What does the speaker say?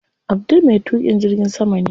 Abdul me tuƙin jirgin sama ne.